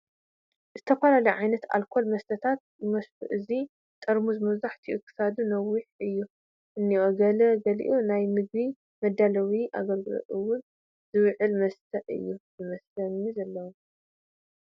ዝተፈላለዩ ዓይነት ኣልኮል መስተታት ይመስሉ እቲ ጠርሙስ መብዛሕቱኡ ክሳዱ ነዋሕቲ እዩ እንኤ ገላ ገሊኡ ናብ ምግቢ መዳለዊ ኣገልግሎት እውን ዝውዕል መስተ እዩ ዝመስል ዘሎ ።